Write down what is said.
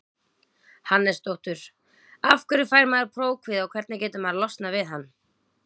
Hannesdóttur Af hverju fær maður prófkvíða og hvernig getur maður losnað við hann?